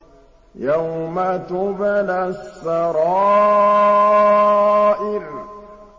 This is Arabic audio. يَوْمَ تُبْلَى السَّرَائِرُ